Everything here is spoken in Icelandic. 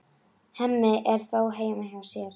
Hemmi er þó heima hjá sér.